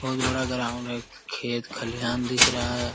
बहोत बड़ा ग्राउंड है खेत खलिहान दिख रहा है ।